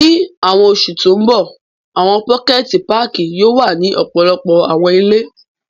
Ni awọn oṣu to nbọ, awọn pokẹti pààki yoo wa ni ọpọlọpọ awọn ile.